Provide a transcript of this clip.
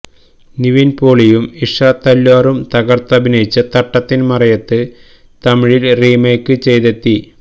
നിവിന് പോളിയും ഇഷ തല്വാറും തകര്ത്തഭിനയിച്ച തട്ടത്തിന് മറയത്ത് തമിഴില് റീമെയ്ക്ക് ചെയ്തെത്തി